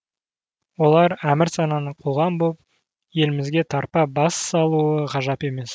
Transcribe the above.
олар әмірсананы қуған боп елімізге тарпа бас салуы ғажап емес